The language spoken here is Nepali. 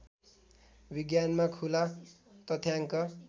विज्ञानमा खुला तथ्याङ्क